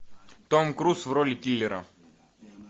том круз в роли киллера